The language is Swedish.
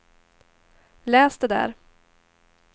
läs det där